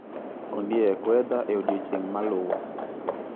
Ondiek weather e odiechieng ' maluwo